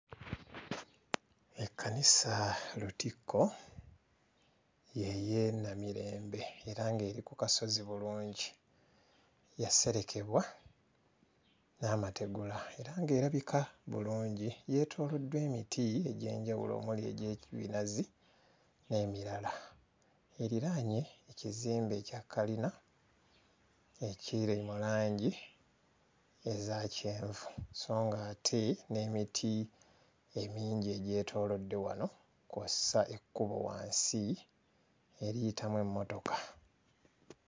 Ekkanisa lutikko ye y'e Namirembe era ng'eri ku kasozi bulungi yaserekebwa n'amategula era ng'erabika bulungi yeetooloddwa emiti egy'enjawulo omuli egye binazi n'emirala eriraanye ekizimbe kya kalina ekiri mu langi eza kyenvu sso ng'ate n'emiti emingi egyetoolodde wano kw'ossa ekkubo wansi eriyitamu emmotoka.